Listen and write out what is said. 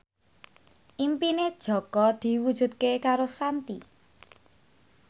impine Jaka diwujudke karo Shanti